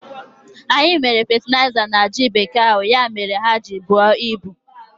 Anyị mee fetịliza na ji bekee ahụ, ya mere ha ji buo ibu